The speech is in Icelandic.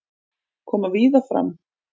Koma víða fram